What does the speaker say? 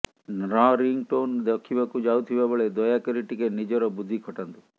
ନ୍ର ring tone ରଖିବାକୁ ଯାଉଥିବା ବେଳେ ଦୟାକରି ଟିକେ ନିଜର ବୁଦ୍ଧି ଖଟାନ୍ତୁ